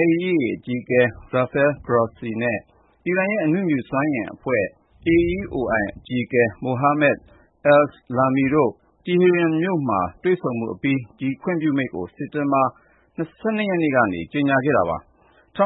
(IAEA) အကြီးအကဲ Rafael Grossi နဲ့ အီရန်ရဲ့ အနုမြူစွမ်းအင်အဖွဲ့ (AEOI) အကြီးအကဲ Mohammad Eslami တို့ တီဟီရန်မြို့မှာ တွေ့ဆုံမှုအပြီး ဒီခွင့်ပြုမိန့်ကို စက်တင်ဘာ ၁၂ ရက်နေ့က ကြေညာခဲ့တာပါ။ ၂